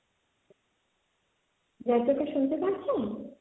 জয়প্রকাশ শুনতে পাচ্ছেন?